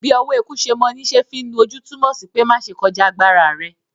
“Bí ọwọ́ eku se mọ ní se fí nu ojú” túmọ̀ sí pé má ṣe kọjá agbára rẹ.